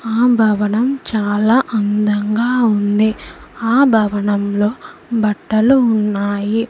ఆ భవనం చాలా అందంగా ఉంది ఆ భవనం లో బట్టలు ఉన్నాయి.